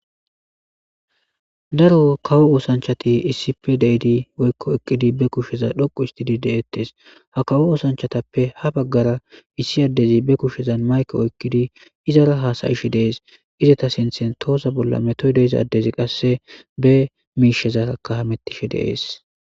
daro kawo oosanchati issi pe deidi woykko ekkidi be kusheza dhoqu histidi de7ettes ha kawo oosanchatappe ha baggara issi addezi be kushsheza mayko oykkidi izara haasayishe dees izata sinthen toosa bolla metoy deiza addezi qasse be miishezakahamettishe deees